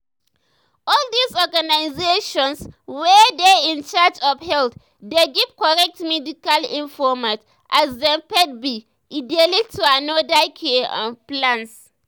all this organizations wey dey in charge of health dey give korrect medical informate as dem faith be e dey lead to another care um plans.